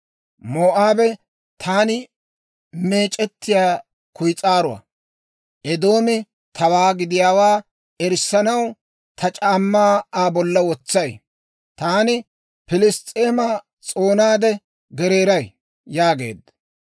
Moo'aabe taani meec'ettiyaa kuyis'aaruwaa; Eedoomi tawaa gidiyaawaa erissanaw ta c'aammaa Aa bolla wotsay; Taani Piliss's'eema s'oonaade gereeray» yaageedda.